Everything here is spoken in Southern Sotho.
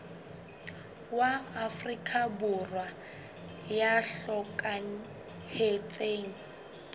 wa afrika borwa ya hlokahetseng